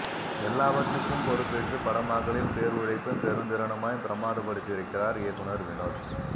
எல்லாவற்றுக்கும் பொறுப்பேற்று படமாக்கலில் பேருழைப்பும் பெருந்திறனுமாய் பிரம்மாதப் படுத்தி இருக்கிறார் இயக்குனர் வினோத்